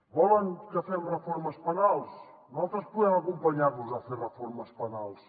volen que fem reformes penals nosaltres podem acompanyar los a fer reformes penals